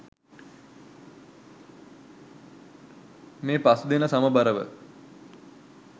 මේ පස් දෙන සමබරව